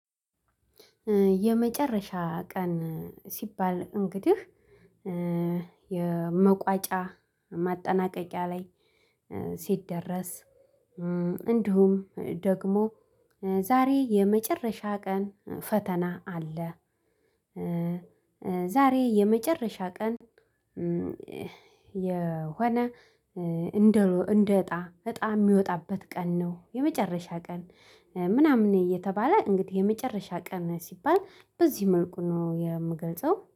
የመጨረሻ ቀን ሲባል እንግዲህ የመቋጫ ማጠናቀቂያ ላይ ሲደረስ እንዲሁም ደግሞ ዛሬ የመጨረሻ ቀን ፈተና አለ። ዛሬ የመጨረሻ ቀን የሆነ እንደ እጣ እጣ የሚወጣበት ቀን ነው የመጨረሻ ቀን ምናምን እየተባለ እንግዲህ የመጨረሻ ቀን ሲባል በዚህ መልኩ ነው የምገልጸው